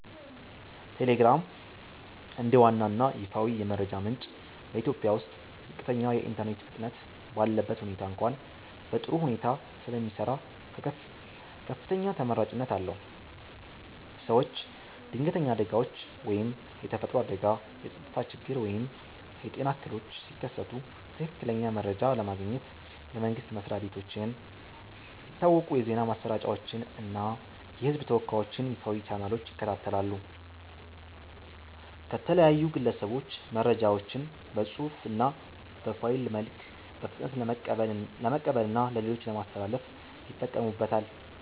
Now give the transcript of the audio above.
ቴሌግራም፦ እንደ ዋና እና ይፋዊ የመረጃ ምንጭ በኢትዮጵያ ውስጥ ዝቅተኛ የኢንተርኔት ፍጥነት ባለበት ሁኔታ እንኳ በጥሩ ሁኔታ ስለሚሰራ ከፍተኛ ተመራጭነት አለው። ሰዎች ድንገተኛ አደጋዎች (የተፈጥሮ አደጋ፣ የጸጥታ ችግር ወይም የጤና እክሎች) ሲከሰቱ ትክክለኛ መረጃ ለማግኘት የመንግስት መስሪያ ቤቶችን፣ የታወቁ የዜና ማሰራጫዎችን እና የህዝብ ተወካዮችን ይፋዊ ቻናሎች ይከታተላሉ። ከተለያዩ ግለሰቦች መረጃዎችን በፅሁፍ እና በፋይል መልክ በፍጥነት ለመቀበልና ለሌሎች ለማስተላለፍ ይጠቀሙበታል።